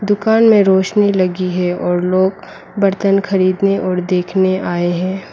दुकान में रोशनी लगी है और लोग बर्तन खरीदने और देखने आए है।